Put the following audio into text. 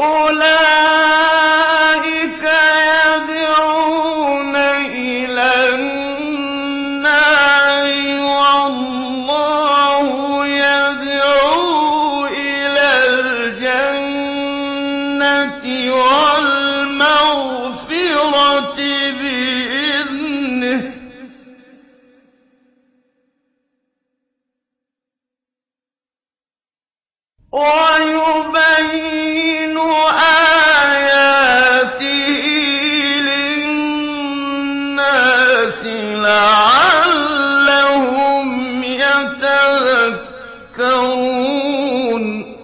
أُولَٰئِكَ يَدْعُونَ إِلَى النَّارِ ۖ وَاللَّهُ يَدْعُو إِلَى الْجَنَّةِ وَالْمَغْفِرَةِ بِإِذْنِهِ ۖ وَيُبَيِّنُ آيَاتِهِ لِلنَّاسِ لَعَلَّهُمْ يَتَذَكَّرُونَ